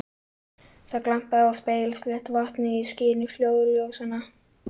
Þetta var afar engilsaxneskur staður og aðkomumenn í miklum meirihluta.